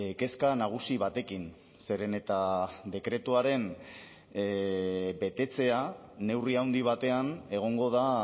kezka nagusi batekin zeren eta dekretuaren betetzea neurri handi batean egongo da